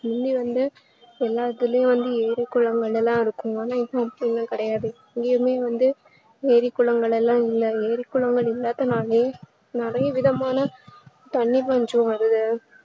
எல்லாருக்குமே வந்து ஏறி குலங்கள்லா இருக்கும் ஆனா இப்ப அதுலா கிடையாது ஏறி குளங்கள்லா இல்ல ஏறி குளங்கள் இல்லாதனாலே நிறைய விதமான தண்ணீர் பஞ்சம் வருது